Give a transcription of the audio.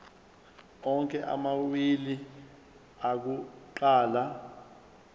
onke amawili akuqala